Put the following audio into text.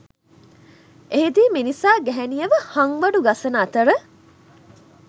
එහිදී මිනිසා ගැහැණියව හංවඩු ගසන අතර